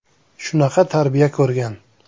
Shunaqa tarbiya ko‘rgan.